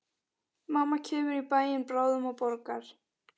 Mamma kemur í bæinn bráðum og borgar.